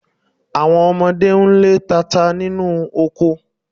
Àwọn ọmọdé ń lé tata nínú oko